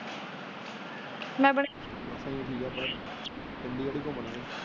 ਚੰਡੀਗੜ੍ਹ ਈ ਘੁੰਮ ਲਈ।